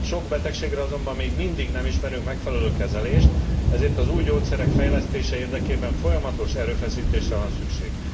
Sok betegségre azonban még mindig nem ismerünk megfelelő kezelést, ezért az új gyógyszerek fejlesztése érdekében folyamatos erőfeszítésre van szükség.